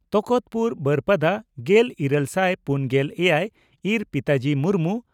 ᱛᱚᱠᱚᱛᱯᱩᱨ ᱵᱟᱹᱨᱯᱟᱫᱟ ᱾ᱜᱮᱞ ᱤᱨᱟᱹᱞ ᱥᱟᱭ ᱯᱩᱱᱜᱮᱞ ᱮᱭᱟᱭ ᱹ ᱤᱨ ᱯᱤᱛᱟᱡᱤ ᱢᱩᱨᱢᱩ